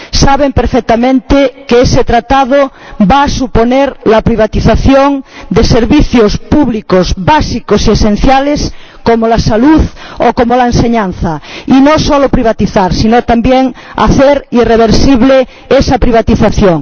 saben perfectamente que ese Tratado va a suponer la privatización de servicios públicos básicos y esenciales, como la salud o como la enseñanza —y no solo privatizar, sino, también, hacer irreversible esa privatización—.